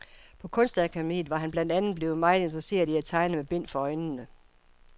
På kunstakademiet var han blandt andet blevet meget interesseret i at tegne med bind for øjnene.